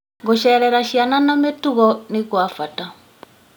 Gũcerera ciana na mĩtugo nĩ gwa bata.